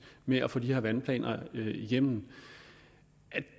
med at få de her vandplaner igennem